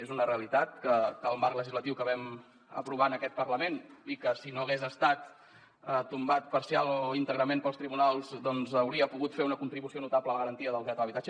és una realitat que el marc legislatiu que vam aprovar en aquest parlament si no hagués estat tombat parcialment o íntegrament pels tribunals doncs hauria pogut fer una contribució notable a la garantia del dret a l’habitatge